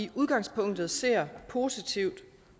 i udgangspunktet ser positivt